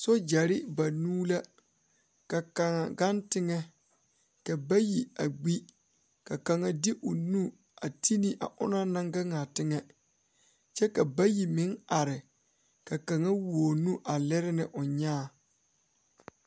Soogyɛre banuu la ka kaŋa gaŋ teŋɛ ka bayi a gbi ka kaŋa de o nu a ti ne a o na naŋ gaŋ a teŋɛ kyɛ ka bayi meŋ are ka kaŋa wuo o nu a lere ne o nyãã.